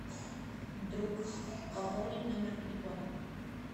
друг пополнить номер телефона